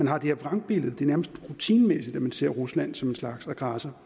har det her vrangbillede det er nærmest rutinemæssigt at man ser rusland som en slags aggressor